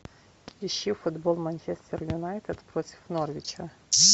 ищи футбол манчестер юнайтед против норвича